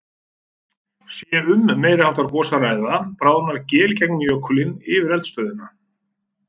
Sé um meiri háttar gos að ræða, bráðnar geil í gegnum jökulinn yfir eldstöðinni.